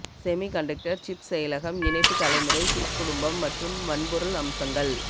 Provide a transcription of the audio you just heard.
semiconductor chip செயலகம் இணைப்பு தலைமுறை சிப் குடும்பம் மற்றும் வன்பொருள் அம்சங்கள்